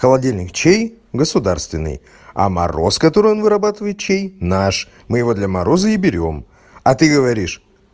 холодильник чей государственный а мороз который он вырабатывает чей наш мы его для мороза и берём а ты говоришь